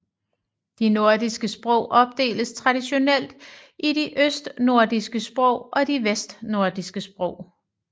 De nordiske sprog opdeles traditionelt i de østnordiske sprog og de vestnordiske sprog